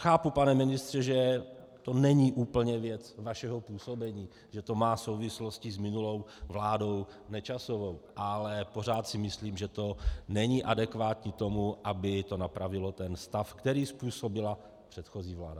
Chápu, pane ministře, že to není úplně věc vašeho působení, že to má souvislosti s minulou vládou Nečasovou, ale pořád si myslím, že to není adekvátní tomu, aby to napravilo ten stav, který způsobila předchozí vláda.